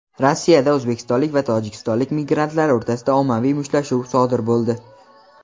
Rossiyada o‘zbekistonlik va tojikistonlik migrantlar o‘rtasida ommaviy mushtlashuv sodir boldi.